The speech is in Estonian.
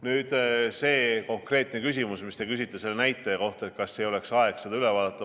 Nüüd, see konkreetne küsimus, mis te küsisite selle näitaja kohta, et kas ei oleks aeg see üle vaadata.